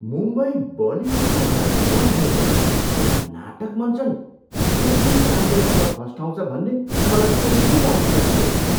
मुम्बई बलिउडको घर हुँदाहुँदै पनि यहाँ नाटक मञ्चन यति राम्रोसँग फस्टाउँछ भन्ने मलाई कहिल्यै लागेको थिएन।